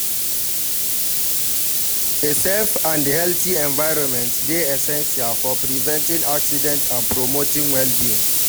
A safe and healthy envirnment dey essential for preventing accidents and promoting well-being.